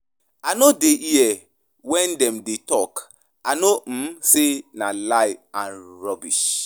I no dey here wen dem dey talk, I know um say na lies and rubbish.